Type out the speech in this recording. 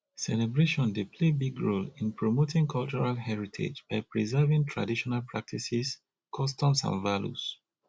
celebration dey play big role in promoting cultural heritage by preserving traditional practices customs and values